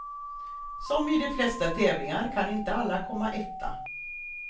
Som i de flesta tävlingar kan inte alla komma etta.